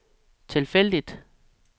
tilfældigt